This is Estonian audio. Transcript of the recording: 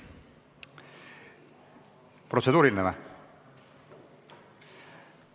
Kas protseduuriline?